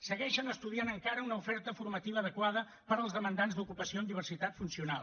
segueixen estudiant encara una oferta formativa adequada per als demandants d’ocupació amb diversitat funcional